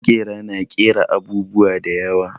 Maƙera na ƙera abubuwa da yawa.